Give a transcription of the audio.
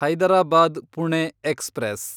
Hyderabad Pune express